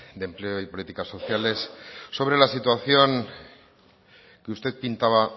de empleo y políticas sociales sobre la situación que usted pintaba